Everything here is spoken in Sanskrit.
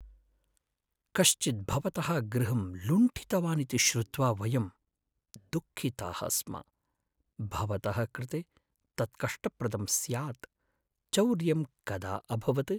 कश्चित् भवतः गृहं लुण्ठितवान् इति श्रुत्वा वयं दुःखिताः स्म, भवतः कृते तत् कष्टप्रदं स्यात्। चौर्यं कदा अभवत्? आरक्षकः